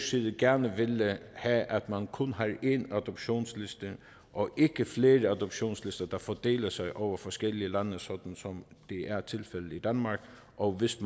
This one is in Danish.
side gerne vil have at man kun har én adoptionsliste og ikke flere adoptionslister der fordeler sig over forskellige lande som det er tilfældet i danmark og hvis